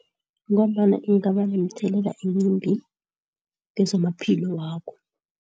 Ngombana ingaba nomthelela emimbi kwezamaphilo wakho.